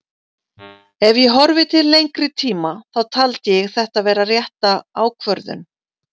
Ef ég horfi til lengri tíma þá taldi ég þetta vera rétta ákvörðun.